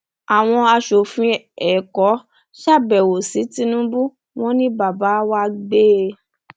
àwọn aṣòfin èkó ṣàbẹwò sí tinubu wọn ni bàbá wa gbẹ